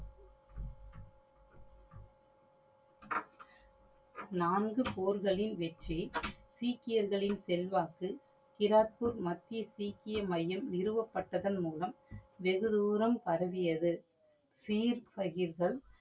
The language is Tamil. நான்கு போர்களின் வெற்றி சிகியர்களின் செல்வாக்கு கிராக்பூர் மத்திய சீக்கியமையம் நிறுவப்பட்டதன் மூலம் வெகு தூரம் பரவியது சீர்